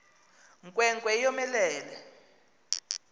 nkwe nkwe yomelele